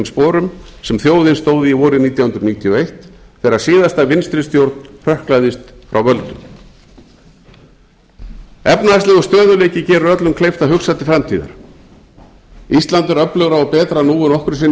sporum sem þjóðin stóð í vorið nítján hundruð níutíu og eitt þegar síðasta vinstri stjórn hrökklaðist frá völdum efnahagslegur stöðugleiki gerir öllum kleift að hugsa til framtíðar ísland er öflugra og betra nú en nokkru sinni fyrr